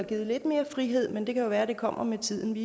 givet lidt mere frihed men det kan jo være at det kommer med tiden vi